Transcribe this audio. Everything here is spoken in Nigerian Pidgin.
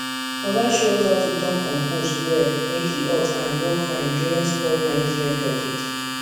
oga show us how to turn compost well make e hot and grow fine during spoil management topic